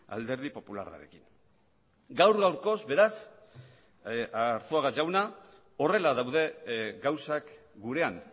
alderdi popularrarekin gaur gaurkoz beraz arzuaga jauna horrela daude gauzak gurean